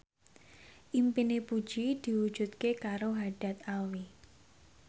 impine Puji diwujudke karo Haddad Alwi